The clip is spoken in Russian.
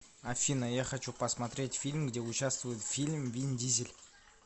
афина я хочу посмотреть фильм где участвует фильм вин дизель